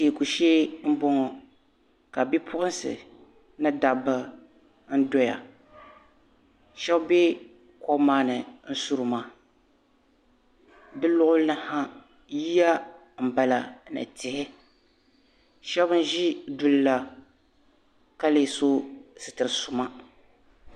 teeku shee m-bɔŋɔ ka bi' puɣinsi ni dabba n-doya shɛba be kom maa ni n-suri maa bɛ luɣili ni ha yiya m-bala ni tihi shɛba ʒi duli la ka leei sɔ sitir' suma.